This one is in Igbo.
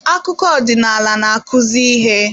Akụkọ ọdịnala na-akụzi ihe.